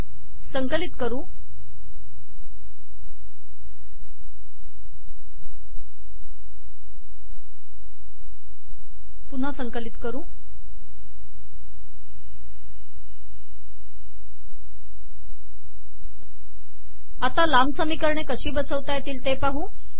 संकलित करु पुन्हा संकलित करूआता लांब समीकरणे कशी बसवता येतील ते पाहू